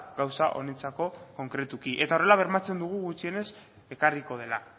gauza honentzako konkretuki eta horrela bermatzen dugu gutxienez ekarriko dela